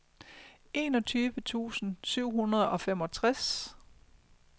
enogtyve tusind syv hundrede og femogtres